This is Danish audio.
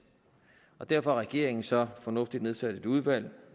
og derfor har regeringen så fornuftigt nok nedsat et udvalg